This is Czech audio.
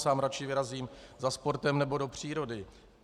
Sám raději vyrazím za sportem nebo do přírody.